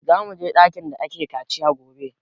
Za mu je ɗakin da ake kaciya gobe